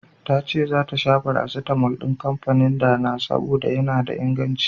Tace zata sha farasitamol din kanfanin Dana, saboda yana da inganci.